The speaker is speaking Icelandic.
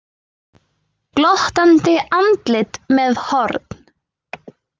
Glottandi andlit með horn.